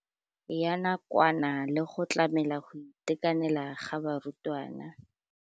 Ya nakwana le go tlamela go itekanela ga barutwana.